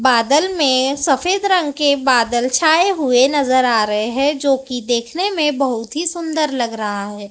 बादल में सफेद रंग के बादल छाए हुए नजर आ रहे हैं जो की देखने में बहुत ही सुंदर लग रहा है।